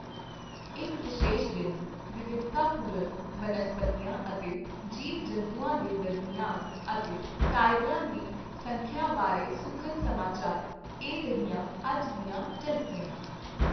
ਇੱਕ ਵਿਸ਼ੇਸ਼ ਦਿਨ, ਵਿਵਿਧਤਾਪੂਰਨ ਬਨਸਪਤੀਆਂ ਅਤੇ ਜੀਵ ਜੰਤੂਆਂ ਦੇ ਦਰਮਿਆਨ ਅਤੇ ਟਾਈਗਰਾਂ ਦੀ ਸੰਖਿਆ ਬਾਰੇ ਸੁਖਦ ਸਮਾਚਰ। ਇਹ ਰਹੀਆਂ ਅੱਜ ਦੀਆਂ ਝਲਕੀਆਂ।